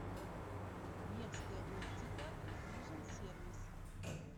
невская оптика вижен сервис